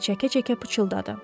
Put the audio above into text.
İçini çəkə-çəkə pıçıldadı.